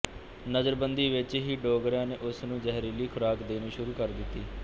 ਨਜ਼ਰਬੰਦੀ ਵਿੱਚ ਹੀ ਡੋਗਰਿਆਂ ਨੇ ਉਸ ਨੂੰ ਜ਼ਹਿਰੀਲੀ ਖ਼ੁਰਾਕ ਦੇਣੀ ਸ਼ੁਰੂ ਕਰ ਦਿਤੀ